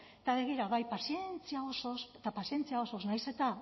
eta begira bai pazientzia osoz eta pazientzia osoz nahiz eta